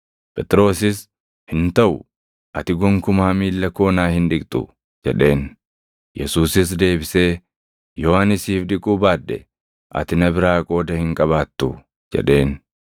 Phexrosis, “Hin taʼu; ati gonkumaa miilla koo naa hin dhiqxu” jedheen. Yesuusis deebisee, “Yoo ani siif dhiquu baadhe ati na biraa qooda hin qabaattu” jedheen.